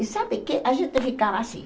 E sabe que a gente ficava assim.